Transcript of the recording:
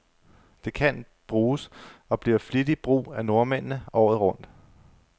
Det kan bruges, og bliver flittigt brug af nordmændene, året rundt.